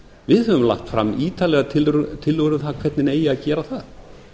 við höfum lagt fram ítarlegar tillögur um það hvernig eigi að gera það